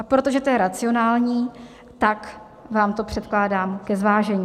A protože to je racionální, tak vám to předkládám ke zvážení.